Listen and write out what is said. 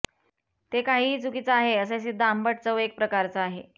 ते काहीही चुकीचा आहे असे सिद्ध आंबट चव एक प्रकारचा आहे